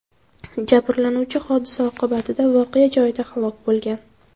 Jabrlanuvchi hodisa oqibatida voqea joyida halok bo‘lgan.